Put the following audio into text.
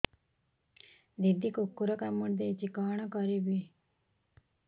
ଦିଦି କୁକୁର କାମୁଡି ଦେଇଛି କଣ କରିବି